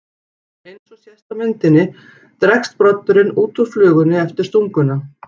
Eins og sést á myndinni dregst broddurinn út úr flugunni eftir stunguna.